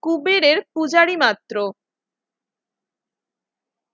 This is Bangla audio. কুবেরের পূজারী মাত্র